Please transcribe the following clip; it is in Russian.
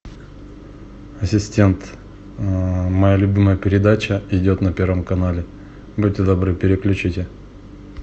ассистент моя любимая передача идет на первом канале будьте добры переключите